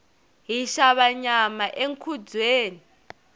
hi xava nyama enkhubyeni